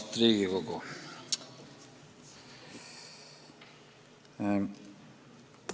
Austatud Riigikogu!